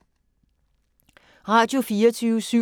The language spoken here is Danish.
Radio24syv